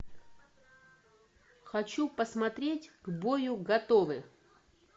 хочу посмотреть к бою готовы